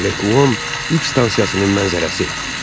Lekuan yük stansiyasının mənzərəsi.